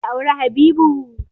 Za ki auri Habibu!